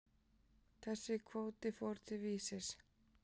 Þessi kvóti fór til Vísis.